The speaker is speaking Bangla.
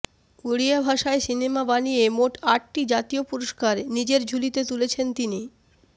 ওড়িয়া ভাষায় সিনেমা বানিয়ে মোট আটটি জাতীয় পুরস্কার নিজের ঝুলিতে তুলেছেন তিনি